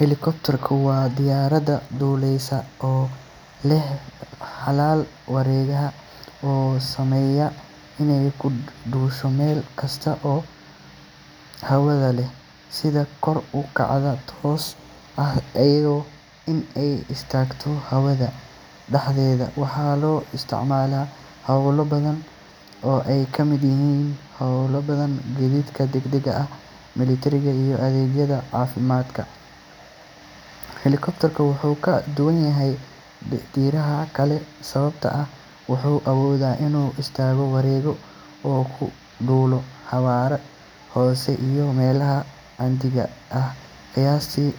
Helicopter waa diyaaradda duulaysa oo leh baalal wareegaya oo u saamaxaya inay ku duusho meel kasta oo hawada ah, sida kor u kaca tooska ah iyo in ay istaagto hawada dhexdeeda. Waxaa loo isticmaalaa hawlo badan oo ay ka mid yihiin badbaadinta, gaadiidka degdega ah, militariga, iyo adeegyada caafimaadka. Helicopter wuxuu ka duwan yahay diyaaradaha kale sababtoo ah wuxuu awoodaa inuu istaago, wareego, oo uu ku duulo xawaare hoose iyo meelaha cidhiidhiga ah. Qiyaastii